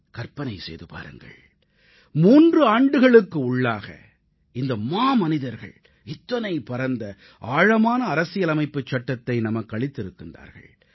கற்பனை செய்து பாருங்கள் 3 ஆண்டுகளுக்கு உள்ளாக இந்த மாமனிதர்கள் இத்தனை பரந்த ஆழமான அரசியலமைப்புச் சட்டத்தை நமக்களித்திருக்கிறார்கள்